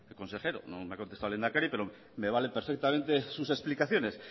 consejero no me ha contestado el lehendakari pero me valen perfectamente sus explicaciones